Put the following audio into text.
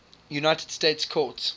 united states courts